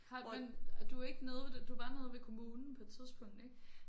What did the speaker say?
Har men du er ikke nede ved det du var nede ved kommunen på et tidspunkt ik